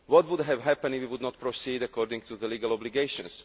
What would have happened if we had not proceeded according to our legal obligations?